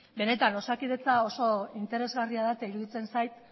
benetan osakidetza oso interesgarria da eta iruditzen zait